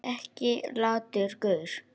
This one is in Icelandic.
Ekki latur gaur!